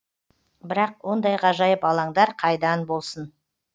бірақ ондай ғажайып алаңдар қайдан болсын